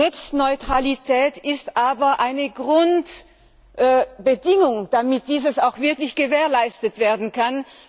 Netzneutralität ist aber eine Grundbedingung, damit all dies auch wirklich gewährleistet werden kann.